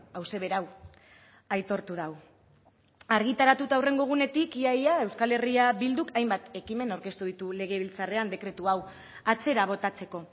hauxe berau aitortu du argitaratu eta hurrengo egunetik ia ia euskal herria bilduk hainbat ekimen aurkeztu ditu legebiltzarrean dekretu hau atzera botatzeko